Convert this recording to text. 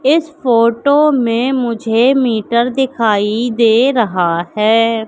इस फोटो में मुझे मीटर दिखाई दे रहा है।